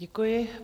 Děkuji.